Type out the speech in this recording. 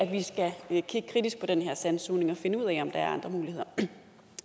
vi skal kigge kritisk på den her sandsugning og finde ud af om der er andre muligheder